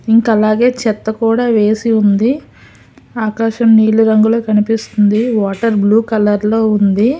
ఇంక అలాగే చెత్త కూడ ఏసీ ఉంది ఆకాశం నీలి రంగులో కనిపిస్తుంది వాటర్ బ్లూ కలర్ లో ఉంది.